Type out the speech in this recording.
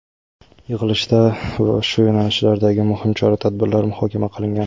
yig‘ilishda shu yo‘nalishlardagi muhim chora-tadbirlar muhokama qilingan.